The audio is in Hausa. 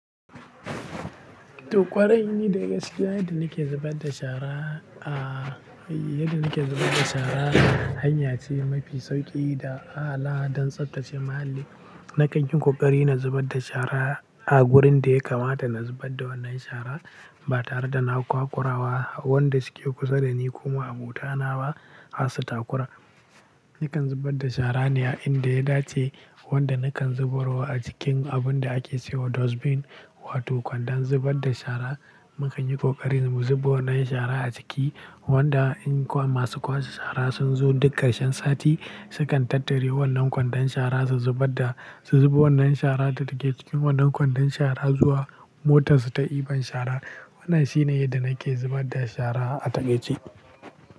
To ƙwarai, ni dai gaskiya yadda nake zubar da shara, a, eh, yadda nake zubar da shara, hanya ce mafi sauƙi da al'a don tsaftace muhalli. Nakan yi ƙoƙari na zubar da shara a wurin da ya kamata na zubar da wannan shara, ba tare da na kwakura wa wanda suke kusa da ni ko ma'abota na ba, har su takura. Nakan zubar da shara ne a inda ya dace, wanda nakan zubarwa a cikin abun da ake cewa dustbin, wato kwandon zubar da shara. Mukan yi ƙoƙari mu zuba wannan shara a ciki, wanda in kuma masu kwashe shara sun zo duk ƙarshen sati, sukan tattare wannan kwandon shara su zubar da, su zuba wannan shara da take cikin wannan kwandon shara zuwa motar su ta ibar shara. Wannan shi ne yadda nake zubar da shara a takaice.